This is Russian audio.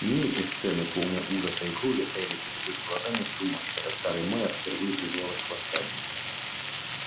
не эти сцены полные ужаса и крови стояли пред их глазами в ту ночь когда старый майер впервые призвал их к восстанию